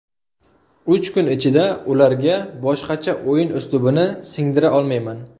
Uch kun ichida ularga boshqacha o‘yin uslubini singdira olmayman.